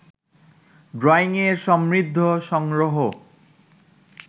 ড্রইংয়ের সমৃদ্ধ সংগ্রহ